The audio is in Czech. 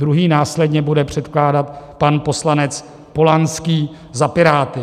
Druhý následně bude předkládat pan poslanec Polanský za Piráty.